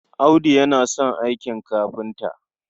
Audu yana son aikin kafinta.